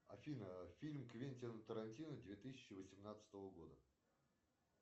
афина фильм квентина тарантино две тысячи восемнадцатого года